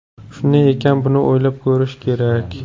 Shunday ekan buni o‘ylab ko‘rish kerak.